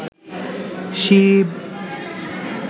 Shiva